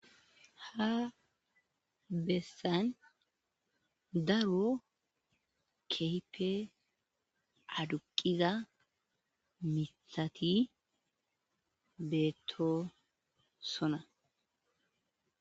Ha bessan daro kehippee aduqiza miiththati beetto sona.